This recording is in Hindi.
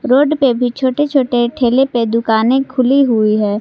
रोड पे भी छोटे छोटे ठेले पे दुकाने खुली हुई है।